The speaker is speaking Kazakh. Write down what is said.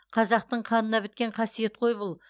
қазақтың қанына біткен қасиет қой бұл